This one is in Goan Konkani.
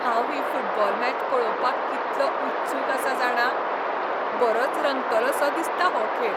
हांव ही फुटबॉल मॅच पळोवपाक कितलो उत्सूक आसा जाणा? बरोच रंगतलोसो दिसता हो खेळ.